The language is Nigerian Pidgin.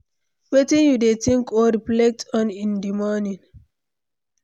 wetin you dey think or reflect on in dey morning?